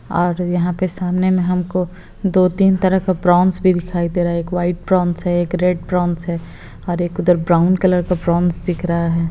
और यहाँ पे सामने में हमको दो-तीन तरह का प्रॉन्स भी दिखाई दे रहा है एक व्हाइट प्रॉन्स है एक रेड प्रॉन्स है और एक उधर ब्राउन कलर का प्रॉन्स दिख रहा है।